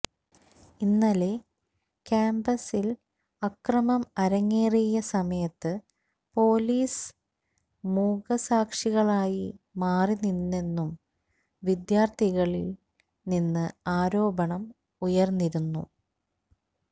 ഇന്നലെ ക്യാംപസിൽ അക്രമം അരങ്ങേറിയ സമയത്ത് പൊലീസ് മൂകസാക്ഷികളായി മാറിനിന്നെന്നും വിദ്യാർഥികളിൽ നിന്ന് ആരോപണം ഉയർന്നിരുന്നു